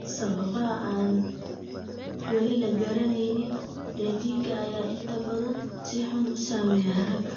Sababaha aan weli la garanayn, dheddigga ayaa inta badan si xun u saameeya ragga.